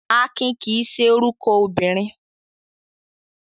Akin kì í ṣe orúkọ obìnrin.